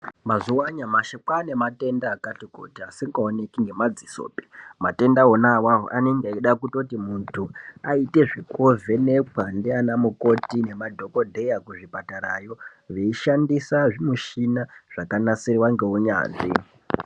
Mazuva anyamashi kwane matenda akati kuti asingaoneki ngemadzisopi matenda onaiwawo anenge achida kuti muntu aite zvekovhenekwa ndana mukoti nemadhokodheya kuzvipatarayo veishandisa zvimushina zvakanasirwa nehunyanzvi.